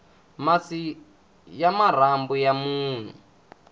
masi ya marhambu ya munhu